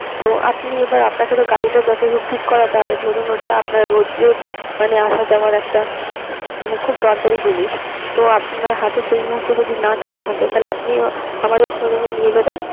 তো আপনি এবার আপনাকে তো গাড়িটা যতই হোক ঠিক করাতে হবে ধরুন ওটা আপনার রোজের মানে আসা যাওয়ার একটা মানে খুব দরকারি জিনিস তো আপনার হাতে সেই মুহূর্তে যদি না টাকা থাকে তো আপনি আমাদের showroom নিয়ে যাবেন